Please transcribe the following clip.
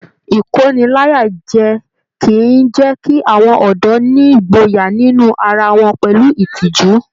Ikóníláyàjẹ̀ kìí jẹ kí àwọn ọdọ nígboyà nínú ará wọn pẹlú ìtìjú.